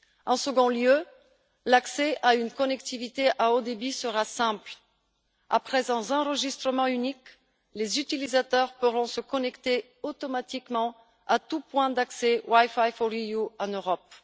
En second lieu, l'accès à une connectivité à haut débit sera simple. Après un enregistrement unique, les utilisateurs pourront se connecter automatiquement à tous les points d'accès WiFi4EU en Europe.